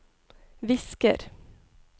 visker